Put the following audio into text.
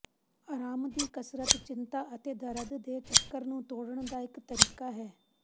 ਅਰਾਮ ਦੀ ਕਸਰਤ ਚਿੰਤਾ ਅਤੇ ਦਰਦ ਦੇ ਚੱਕਰ ਨੂੰ ਤੋੜਨ ਦਾ ਇੱਕ ਤਰੀਕਾ ਹੈ